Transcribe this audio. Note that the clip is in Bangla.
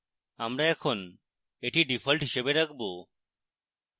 আমরা এখন এটি ডিফল্ট হিসাবে রাখবো